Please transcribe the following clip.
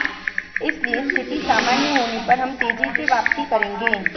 इसलिए स्थिति सामान्य होने पर हम तेजी से वापसी करेंगे